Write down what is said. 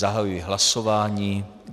Zahajuji hlasování.